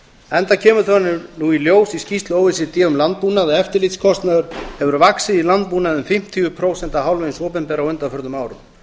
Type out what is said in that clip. enda kemur það nú í ljós í skýrslu o e c d um landbúnað að eftirlitskostnaður hefur vaxið í landbúnaði um fimmtíu prósent af hálfu hins opinbera á undanförnum árum